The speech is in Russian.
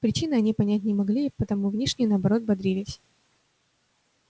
причины они понять не могли и потому внешне наоборот бодрились